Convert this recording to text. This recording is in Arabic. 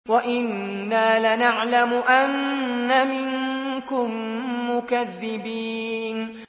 وَإِنَّا لَنَعْلَمُ أَنَّ مِنكُم مُّكَذِّبِينَ